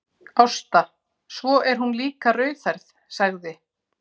Ásta, svo er hún líka rauðhærð, sagði